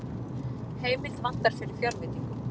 Heimild vantar fyrir fjárveitingum